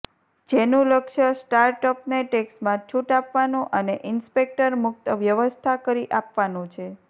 જેનું લક્ષ્ય સ્ટાર્ટઅપને ટેક્સમાં છૂટ આપવાનું અને ઈન્સ્પેક્ટર મુક્ત વ્યવસ્થા કરી આપવાનું છે